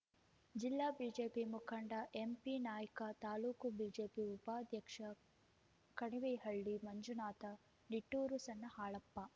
ಜಿಲ್ಲಾ ಬಿಜೆಪಿ ಮುಖಂಡ ಎಂಪಿನಾಯ್ಕ ತಾಲೂಕು ಬಿಜೆಪಿ ಉಪಾಧ್ಯಕ್ಷ ಕಣಿವಿಹಳ್ಳಿ ಮಂಜುನಾಥ ನಿಟ್ಟೂರು ಸಣ್ಣ ಹಾಲಪ್ಪ